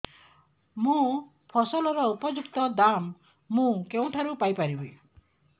ମୋ ଫସଲର ଉପଯୁକ୍ତ ଦାମ୍ ମୁଁ କେଉଁଠାରୁ ପାଇ ପାରିବି